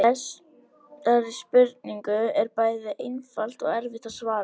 Þessari spurningu er bæði einfalt og erfitt að svara.